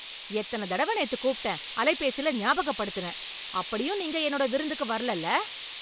எத்தன தடவை நேத்து கூப்பிட்டேன், அலைபேசில ஞாபக படுத்தினேன், அப்படியும் நீங்க என்னோட விருந்துக்கு வரலேல்ல.